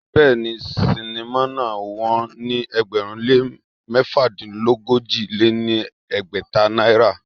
Béèni, sinimá náà wón ní ẹgbẹ̀rún lé mẹ́fàdínogójì lé ní ẹgbẹ́ta náírà.